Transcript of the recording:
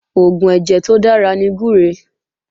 Oògùn ẹ̀jẹ̀ tó dára ní gbúre